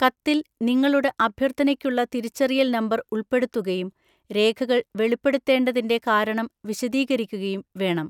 കത്തിൽ, നിങ്ങളുടെ അഭ്യർത്ഥനയ്ക്കുള്ള തിരിച്ചറിയൽ നമ്പർ ഉൾപ്പെടുത്തുകയും രേഖകൾ വെളിപ്പെടുത്തേണ്ടതിന്റെ കാരണം വിശദീകരിക്കുകയും വേണം.